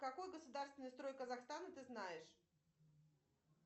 какой государственный строй казахстана ты знаешь